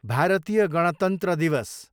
भारतीय गणतन्त्र दिवस